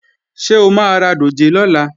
Ṣé o máa ra dòjé lọ́la?